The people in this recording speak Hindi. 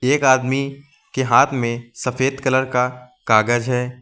एक आदमी के हाथ में सफेद कलर का कागज है।